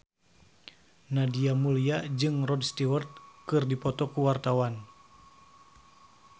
Nadia Mulya jeung Rod Stewart keur dipoto ku wartawan